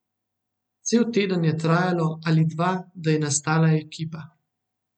Cel teden je trajalo ali dva, da je nastala ekipa.